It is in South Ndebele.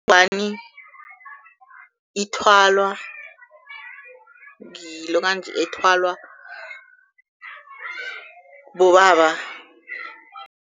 Ingwani ithwalwa ngilokanji ethwalwa bobaba.